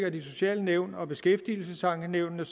at de sociale nævn og beskæftigelsesankenævnene